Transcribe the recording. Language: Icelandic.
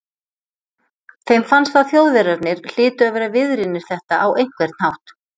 Þeim fannst að Þjóðverjarnir hlytu að vera viðriðnir þetta á einhvern hátt.